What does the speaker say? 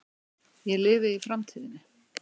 Ég lifi í framtíðinni.